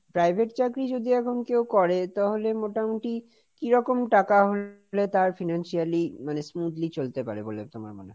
private চাকরি যদি এখন কেউ করে তাহলে মোটামুটি কিরকম টাকা হলে তার financially মানে smoothly চলতে পারে বলে তোমার মনে হয়?